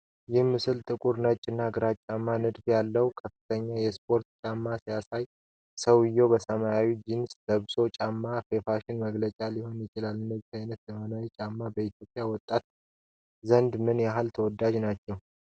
ይህ ምስል ጥቁር፣ ነጭ እና ግራጫማ ንድፎች ያሉት ከፍተኛ የስፖርት ጫማ ያሳያል። ሰውዬው ሰማያዊ ጂንስ ለብሷል። ጫማው የፋሽን መግለጫ ሊሆን ይችላል። እንደነዚህ ያሉት ዘመናዊ ጫማዎች በኢትዮጵያ ወጣቶች ዘንድ ምን ያህል ተወዳጅ ሆነዋል?